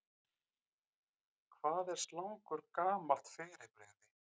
Hvað er slangur gamalt fyrirbrigði?